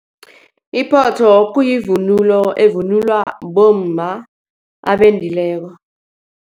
Iphotho kuyivunulo evunulwa bomma abendileko.